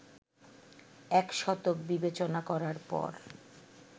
এক শতক বিবেচনা করার পর